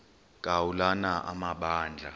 ka ulana amabandla